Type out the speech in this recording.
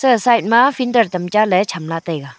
aga side ma finter tam cha ley chamla taiga.